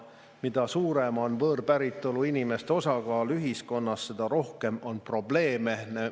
Mida suurem on võõrpäritolu inimeste osakaal ühiskonnas, seda rohkem on probleeme.